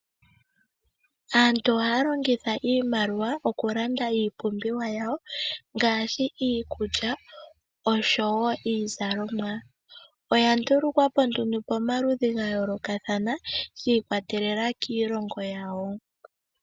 Aantu ohaya longitha iimaliwa okulanda iipumbiwa yawo ngaashi iikulya oshowoo iizalomwa, oya ndulukwa po nduno pomaludhi ga yoolokathana shi kwatelela kiilongo yawo.